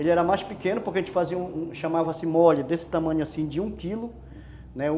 Ele era mais pequeno, porque a gente chamava mole desse tamanho assim, de um quilo, né